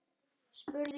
er spurt.